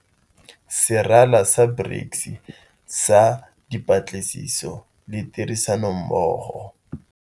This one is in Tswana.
Serala sa BRICS sa Dipatlisiso le Tirisanommogo.